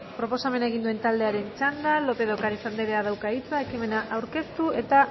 proposamena egin duen taldearen txanda lopez de ocariz andreak dauka hitza ekimena aurkeztu eta